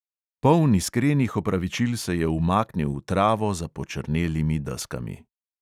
Poln iskrenih opravičil se je umaknil v travo za počrnelimi deskami.